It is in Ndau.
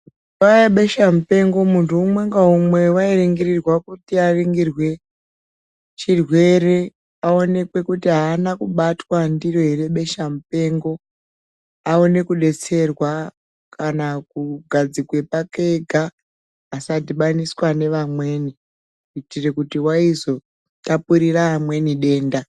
Nguva ye beshe mupengo muntu umwe nga umwe wai ringirwa kuti aringirwe chirwere kuti awoneke ahana kubatwa ndiro ere besha mupengo aone ku detserwa kana ku gadzikwe pake ega asa dhibaniswa ne vamweni kuitire kuti vayizo tapurira amweni denda.